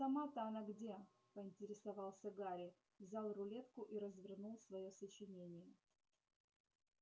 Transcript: а сама-то она где поинтересовался гарри взял рулетку и развернул своё сочинение